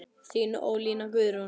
Þín Ólína Guðrún.